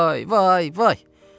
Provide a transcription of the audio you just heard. Vay, vay, vay.